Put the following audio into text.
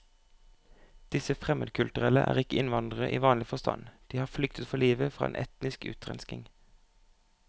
Disse fremmedkulturelle er ikke innvandrere i vanlig forstand, de har flyktet for livet fra en etnisk utrenskning.